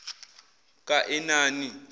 kaenani